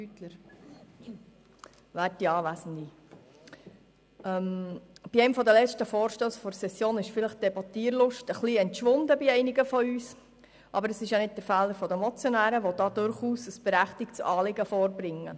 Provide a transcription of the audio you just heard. Bei einem der letzten Vorstösse dieser Session ist die Debattierlust bei einigen wahrscheinlich etwas verschwunden, aber das ist nicht der Fehler der Motionäre, die hier ein durchaus berechtigtes Anliegen vorbringen.